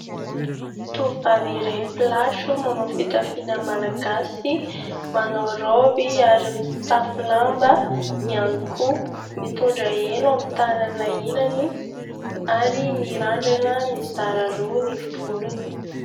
Tovovavy iray mpilatro manao fitafiana malagasy, manao raoby ary mitafy lamba ihany koa, mitondra elo amin'ny tànana ilany ary mirandrana mizara roa ny volony.